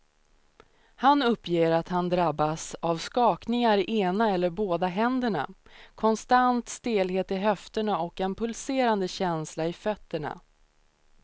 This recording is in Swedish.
Han uppger att han drabbas av skakningar i ena eller båda händerna, konstant stelhet i höfterna och en pulserande känsla i fötterna.